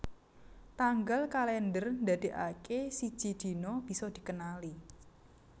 Tanggal kalèndher ndadèkaké siji dina bisa dikenali